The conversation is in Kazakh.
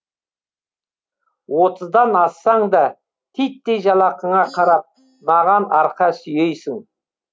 отыздан ассаң да титтей жалақыңа қарап маған арқа сүйейсің